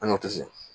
An y'o tɛ se